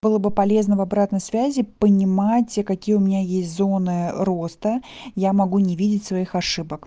было бы полезно в обратной связи понимать какие у меня есть зоны роста я могу не видеть своих ошибок